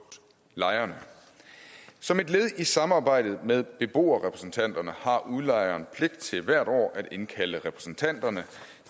lejen som et led i samarbejdet med beboerrepræsentanterne har udlejeren pligt til hvert år at indkalde repræsentanterne